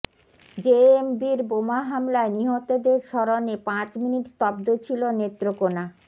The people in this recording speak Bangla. জেএমবির বোমা হামলায় নিহতদের স্মরণে পাঁচ মিনিট স্তব্ধ ছিল নেত্রকোনা